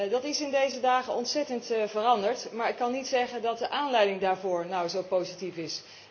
Dat is in deze dagen ontzettend veranderd, maar ik kan niet zeggen dat de aanleiding daarvoor nou zo positief is.